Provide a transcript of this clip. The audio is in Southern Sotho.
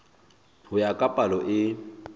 ho ya ka palo e